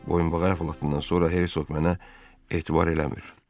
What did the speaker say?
Boyunbağı əhvalatından sonra Hersoq mənə etibar eləmir.